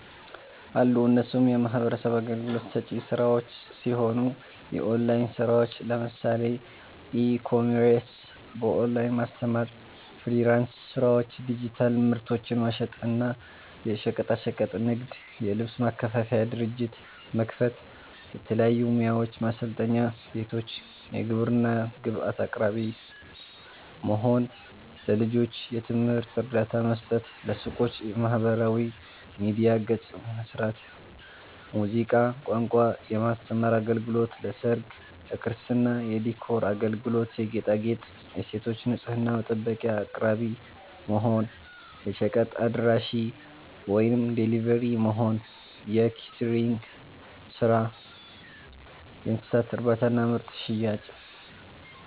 አሉ እነሱም የሚህበረሰብ አገልግሎት ሰጪ ስራዎች ሲሆኑ፦ የኦላይን ስራዎች ለምሳሌ፦ ኢ-ኮሜርስ፣ በኦላይን ማስተማር፣ ፍሊራንስ ስራዎች፣ ዲጂታል ምርቶችን መሸጥ እና፣ የሸቀጣሸቀጥ ንግድ, የልብስ ማከፋፈያ ድርጅት መክፈት፣ የተለያዩ ሙያዎችን ማሰልጠኛ ቤቶች፣ የግብርና ግብአት አቅራቢ መሆን፣ ለልጆች የትምህርት እርዳታ መስጠት፣ ለሱቆች የማህበራዊ ሚዲያ ገፅ መስራት፣ ሙዚቃ፣ ቋንቋ የማስተማር አገልግሎት ለሰርግ፣ ለክርስትና የዲኮር አገልግሎት የጌጣጌጥ, የሴቶች ንፅህና መጠበቂያ አቅራቢ መሆን፣ የሸቀጥ አድራሺ(ደሊቨሪ)መሆን፣ የኬተሪንግ ስራ፣ የእንስሳት እርባታና ምርት ሽያጭ